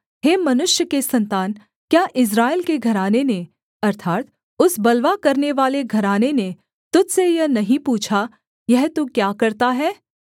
हे मनुष्य के सन्तान क्या इस्राएल के घराने ने अर्थात् उस बलवा करनेवाले घराने ने तुझ से यह नहीं पूछा यह तू क्या करता है